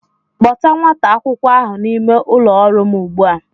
Kpọta nwata akwụkwọ ahụ n'ime ụlọ ọrụ m ugbua!